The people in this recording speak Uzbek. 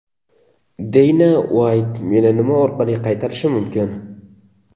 Deyna Uayt meni nima orqali qaytarishi mumkin?